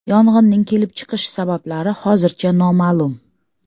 Yong‘inning kelib chiqish sabablari hozircha noma’lum.